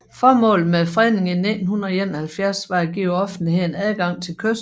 Formålet med fredningen i 1971 var at give offentligheden adgang til kysten